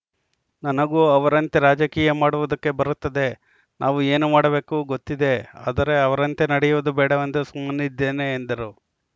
ನನಗೂ ಅವರಂತೆ ರಾಜಕೀಯ ಮಾಡುವುದಕ್ಕೆ ಬರುತ್ತದೆ ನಾವು ಏನು ಮಾಡಬೇಕು ಗೊತ್ತಿದೆ ಆದರೆ ಅವರಂತೆ ನಡೆಯುವುದು ಬೇಡವೆಂದು ಸುಮ್ಮನಿದ್ದೇನೆ ಎಂದರು